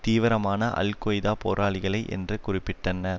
தீவிரமான Al Qaeda போராளிகளை என்றே குறிப்பிட்டனர்